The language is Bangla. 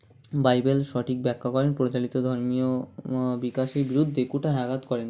বাইবেল সঠিক ব্যাখ্যা করেন প্রচালিত ধর্মীয় উম্ বিকাশি বিরুদ্ধে কুঠায় আঘাত করেন